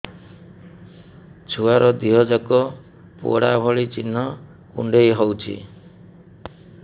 ଛୁଆର ଦିହ ଯାକ ପୋଡା ଭଳି ଚି଼ହ୍ନ କୁଣ୍ଡେଇ ହଉଛି